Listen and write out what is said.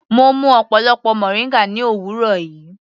Mo mú ọ̀pọlọpọ moringa ní òwúrọ̀ yìí.